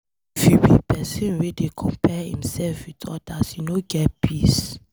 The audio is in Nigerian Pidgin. If you be pesin wey dey compare imself with odas, you no go get peace.